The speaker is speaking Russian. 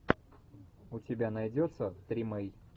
у тебя найдется тримей